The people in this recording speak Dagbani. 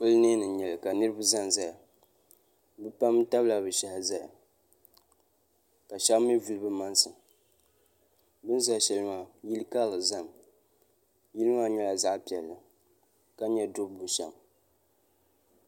polonɛini nyɛli ka niriba zan zaya be pam tabila be shɛhi ʒɛya ka shɛb mi vuli be maŋ si bɛn zaya shɛli maa yili karili ʒɛ mi yili maa nyɛla zaɣ piɛli ka nyɛ dubu bu shɛm